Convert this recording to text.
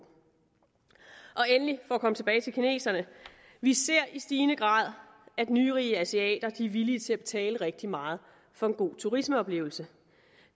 endelig for at komme tilbage til kineserne vi ser i stigende grad at nyrige asiater er villige til at betale rigtig meget for en god turismeoplevelse